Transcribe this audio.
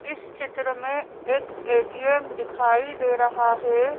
इस चित्र में एक ए_टी_एम दिखाई दे रहा है।